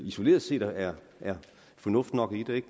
isoleret set er er fornuft i